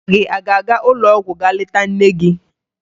Nna gị a ga-aga ụlọọgwụ ga leta nne gị?